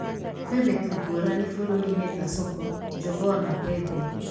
Kwĩ mĩtu ngũrani bũrũri-inĩ ta soko, jogoo na pembe.